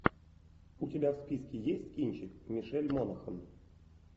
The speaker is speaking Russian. у тебя в списке есть кинчик мишель монахэн